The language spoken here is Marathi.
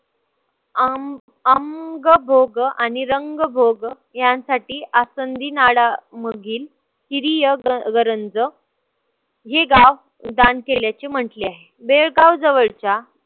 अं अंगभोग आणि रंगभोग यांसाठी आसंधीनाडा मघील किरीय गरंज हे गाव दान केल्याचे म्हंटले आहे. बेळगाव जवळच्या